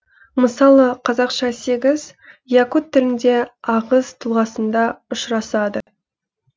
мысалы қазақша сегіз якут тілінде ағыс тұлғасында ұшырасады